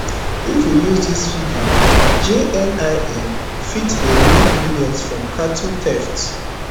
if we use dis figure jnim fit dey make millions from cattle theft